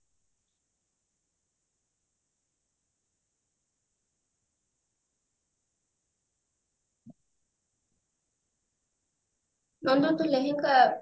ନନ୍ଦୁ ତୁ ଲେହେଙ୍ଗା